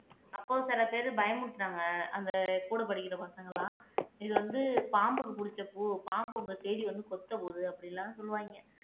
அப்போ சில பேரு பயமுறுத்துனாங்க அந்த கூட படிக்கிற பசங்க எல்லாம் இது வந்து பாம்புக்கு புடிச்ச பூ பாம்பு உங்களை தேடி வந்து கொத்த போகுது அப்படி எல்லாம் சொல்லுவாங்க